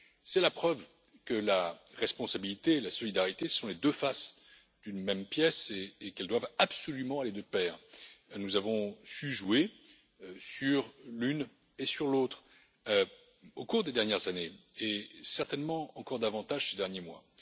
C'est la preuve que la responsabilité et la solidarité sont les deux faces d'une même pièce et qu'elles doivent absolument aller de pair. Nous avons su jouer sur l'une et sur l'autre au cours des dernières années, et certainement encore davantage ces derniers mois.